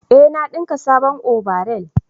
eh na dinka sabon obaral